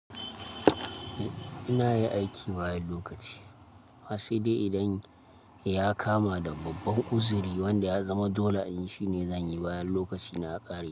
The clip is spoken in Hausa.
Ina yi aiki bayan lokaci amma sai dai idan ya kama da babban uzuri wanda ya zama dole in yi shi ne zan yi bayan lokaci na ya ƙare.